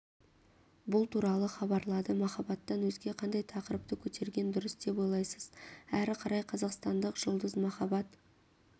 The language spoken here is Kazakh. бұл туралы хабарлады махаббаттан өзге қандай тақырыпты көтерген дұрыс деп ойлайсыз әрі қарай қазақстандық жұлдыз махаббат